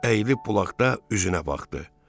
Əyilib bulaqda üzünə baxdı.